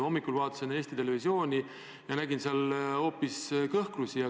Hommikul ma vaatasin Eesti Televisiooni ja nägin seal hoopis kõhklusi.